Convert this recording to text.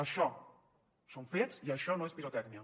això són fets i això no és pirotècnia